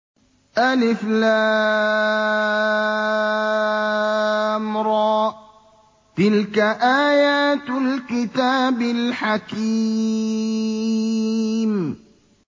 الر ۚ تِلْكَ آيَاتُ الْكِتَابِ الْحَكِيمِ